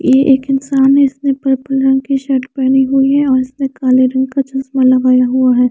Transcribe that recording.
ये एक इन्सान है इसने पर्पल रंग की शर्ट पहनी हुई है और इसमें काले रंग का चश्मा लगाया हुआ है।